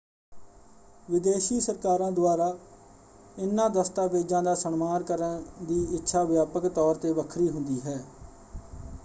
ਵਿਦੇਸ਼ੀ ਸਰਕਾਰਾਂ ਦੁਆਰਾ ਇਨ੍ਹਾਂ ਦਸਤਾਵੇਜ਼ਾਂ ਦਾ ਸਨਮਾਨ ਕਰਨ ਦੀ ਇੱਛਾ ਵਿਆਪਕ ਤੌਰ ‘ਤੇ ਵੱਖਰੀ ਹੁੰਦੀ ਹੈ।